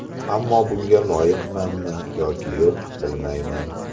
Ammo bunga loyiqmanmi yoki yo‘q, bilmayman.